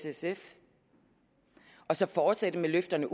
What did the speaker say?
sf og så at fortsætte med løfterne